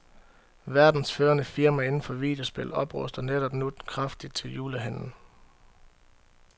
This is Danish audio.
Verdens førende firma inden for videospil opruster netop nu kraftigt til julehandlen.